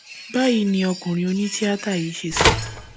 báyìí ni ọkùnrin onítìátà yìí ṣe sọ